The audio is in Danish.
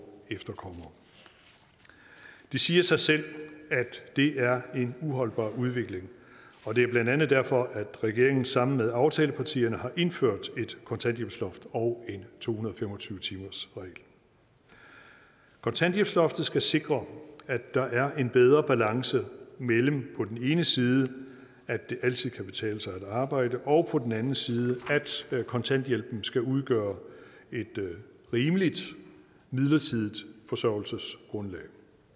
efterkommere det siger sig selv at det er en uholdbar udvikling og det er blandt andet derfor at regeringen sammen med aftalepartierne har indført et kontanthjælpsloft og en to hundrede og fem og tyve timersregel kontanthjælpsloftet skal sikre at der er en bedre balance mellem på den ene side at det altid kan betale sig at arbejde og på den anden side at kontanthjælpen skal udgøre et rimeligt midlertidigt forsørgelsesgrundlag